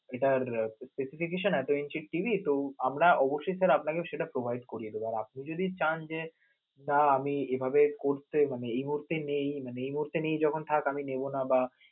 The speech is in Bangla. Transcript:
এটার specification এত inch TV তো আমরা অবশ্যই sir আপনাকে সেটা provide করিয়ে দেব, আর আপনে যদি চান যে, না আমি এভাবে করতে মানে এই মুহূর্তে নেই, মানে এই মুহূর্তে নেই যখন থাক আমি নেব না বা